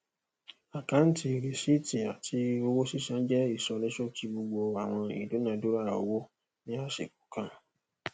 akáǹtì rìsíìtì àti owó sísan jẹ ìsọníṣókí gbogbo àwọn ìdúnàándúrà owó ní àsìkò kan